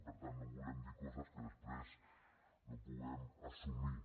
per tant no volem dir coses que després no puguem assumir